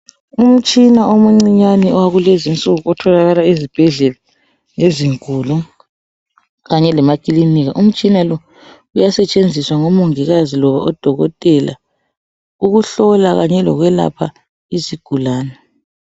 Umtshina omuncinyane wakulezinsuku otholakala ezibhedlela ezinkulu kanye lemakilinika. Umtshina lo uyasetshenziswa ngomongikazi loba odokotela ukuhlola kanye lokwelapha izigulane.